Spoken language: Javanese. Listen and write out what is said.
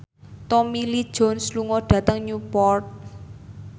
Tommy Lee Jones lunga dhateng Newport